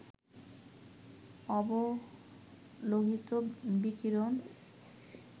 অবলোহিত বিকিরণ